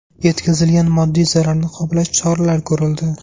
Yetkazilgan moddiy zararni qoplash choralari ko‘rildi.